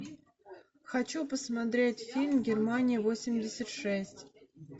хочу посмотреть фильм германия восемьдесят шесть